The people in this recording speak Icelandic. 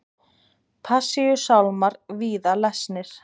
Passíusálmar víða lesnir